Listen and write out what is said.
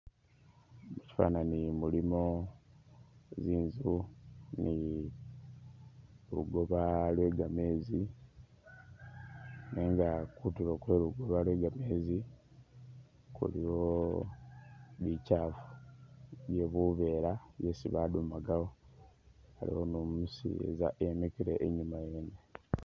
Mushifanani mulimo inzu ni lugoba lwe gameezi nenga kutulo kwe lugoba lwe gameezi kuliyo bikyaala ,iliyo buveera isi badumagawo ,aliwo ni umuseeza yemikile inyuma yene